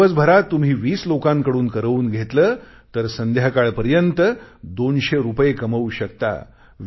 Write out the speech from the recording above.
जर दिवसभरात तुम्ही 20 लोकांकडून करवून घेतले तर संध्याकाळपर्यंत 200 रुपये कमवू शकता